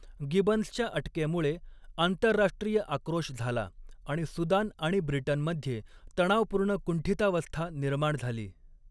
गिबन्सच्या अटकेमुळे आंतरराष्ट्रीय आक्रोश झाला आणि सुदान आणि ब्रिटनमध्ये तणावपूर्ण कुंठितावस्था निर्माण झाली.